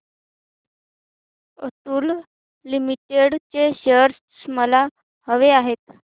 Atul limited चे shares मला हवे आहेत